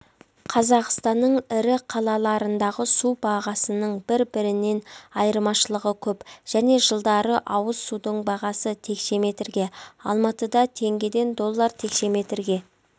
қазақстанның ірі қалалаларындағы су бағасының бір-бірінен айырмашылығы көп және жылдары ауыз судың бағасы текшеметрге алматыда теңгеден доллар текшеметрге